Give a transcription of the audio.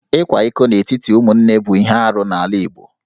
Ịkwa iko n'etiti ụmụnne bụ ihe arụ n'ala Igbo